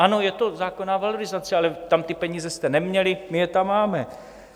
Ano, je to zákonná valorizace, ale tam ty peníze jste neměli, my je tam máme.